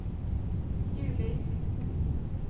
juli